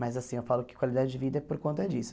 Mas assim, eu falo que qualidade de vida é por conta disso.